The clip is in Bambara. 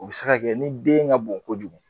O bi se ka kɛ ni den ka bon kojugu